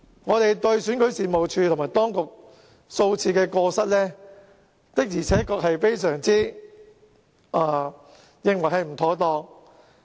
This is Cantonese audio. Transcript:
我們認為選舉事務處及當局犯下數次過失，的確是非常不妥當。